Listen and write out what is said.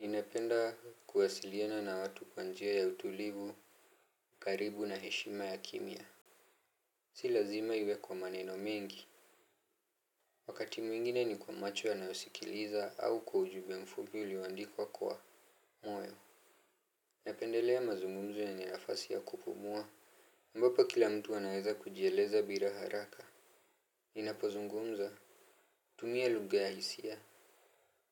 Ninapenda kuwasiliana na watu kwa njia ya utulivu, karibu na heshima ya kimya. Si lazima iwe kwa maneno mengi. Wakati mwingine ni kwa macho yanayosikiliza au kwa ujumbe mfupi ulioandikwa kwa moyo. Napendelea mazungumzo yenye nafasi ya kupumua ambapo kila mtu anaweza kujieleza bila haraka Ninapozungumza Tumia lugha ya hisia.